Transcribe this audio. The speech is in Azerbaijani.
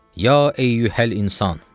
Ya əyyuhəl insan.